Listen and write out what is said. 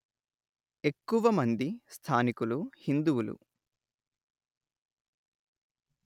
ఎక్కువమంది స్థానికులు హిందువులు